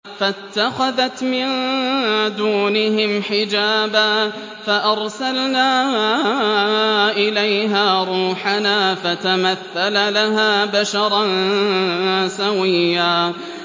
فَاتَّخَذَتْ مِن دُونِهِمْ حِجَابًا فَأَرْسَلْنَا إِلَيْهَا رُوحَنَا فَتَمَثَّلَ لَهَا بَشَرًا سَوِيًّا